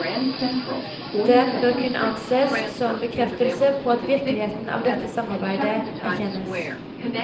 Den bør kunne ansees som bekreftelse på at viktigheten av dette samarbeide erkjennes.